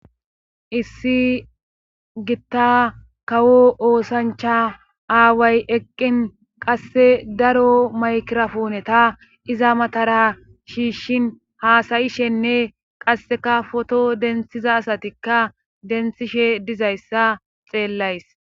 issi gitta kawo oosancha aaway eqqin qasse daro maykirafooneta iza matara shiishshin haasayishenne qasseka foto denthiza asatikka denthishe dizayssa xeellays